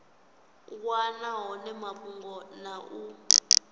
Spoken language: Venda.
wana hone mafhungo na u